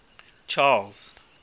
charles